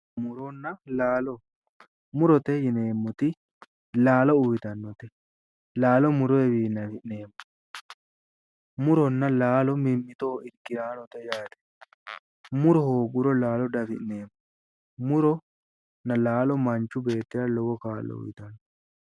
Muronna laalo murote yineemmoti laalo uyitannote laalo muroyiwiinni afi'neemmo muronna laalo mimmitoho irkiraanote yaate muro hooggiro laalo doafi'neemmo muronna laalo manchu beettira lowo kaa'lo uyitanno